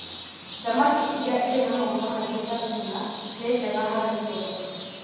Thamaki iria irĩ na maguta maingĩ ta Tuna nĩ njega harĩ ngoro.